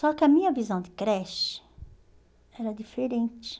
Só que a minha visão de creche era diferente.